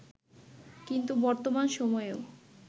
কিন্তু বর্তমান সময়েও